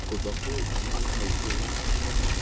go tswa go moakhaefe wa